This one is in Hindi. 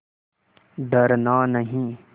डरना नहीं